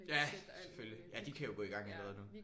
Ja selvfølgelig. Ja de kan jo gå i gang med noget nu